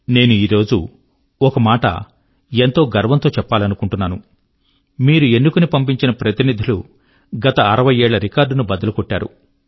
నేను ఈరోజు ఒక మాట ఎంతో గర్వం తో చెప్పాలనుకుంటున్నాను మీరు ఎన్నుకొని పంపించిన ప్రతినిధులు గత 60 ఏళ్ళ రికార్డ్ ను బద్దలు కొట్టారు